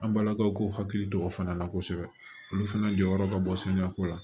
An balakaw k'u hakili to o fana na kosɛbɛ olu fana jɔyɔrɔ ka bɔ sanuyako la